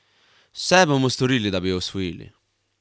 Vse bomo storili, da bi jo osvojili.